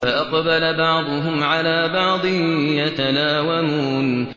فَأَقْبَلَ بَعْضُهُمْ عَلَىٰ بَعْضٍ يَتَلَاوَمُونَ